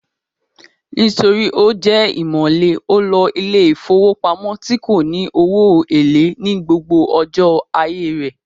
Nítorí ó jẹ́ ìmọ̀le, ó lo ilé ìfowópamọ́ tí kò ní owó èlé ní gbogbo ọjọ́ ayé rẹ̀